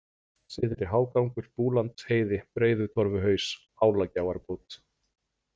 Syðri-Hágangur, Búlandsheiði, Breiðutorfuhaus, Álagjáarbót